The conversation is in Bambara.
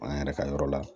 An yɛrɛ ka yɔrɔ la